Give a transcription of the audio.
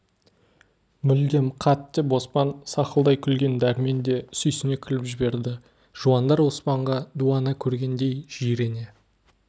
мүлдем қат деп оспан сақылдай күлген дәрмен де сүйсіне күліп жіберді жуандар оспанға дуана көргендей жирене